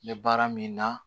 N bɛ baara min na